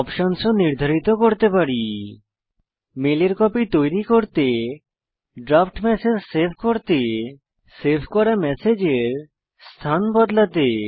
option ও নির্ধারিত করতে পারি মেলের কপি তৈরী করতে ড্রাফট ম্যাসেজ সেভ করতে সেভ করা ম্যাসেজের স্থান বদলাতে